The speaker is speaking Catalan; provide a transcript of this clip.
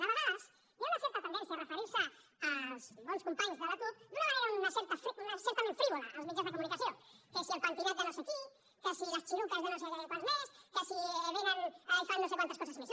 de vegades hi ha una certa tendència a referir se als bons companys de la cup d’una manera certament frívola als mitjans de comunicació que si el pentinat de no sé qui que si les xiruques de no sé quants més que si vénen i fan no sé quantes coses més